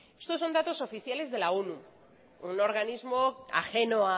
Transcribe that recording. estos son datos oficiales de la onu un organismo ajeno